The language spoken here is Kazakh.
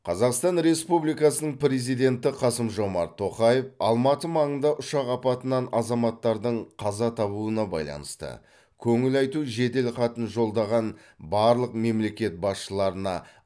қазақстан республикасының президенті қасым жомарт тоқаев алматы маңында ұшақ апатынан азаматтардың қаза табуына байланысты көңіл айту жеделхатын жолдаған барлық мемлекет басшыларына